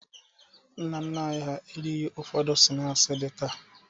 Nna nna anyị hà erighi ụfọdụ snaakị dị taa.